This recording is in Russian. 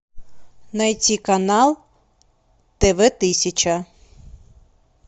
найти канал тв тысяча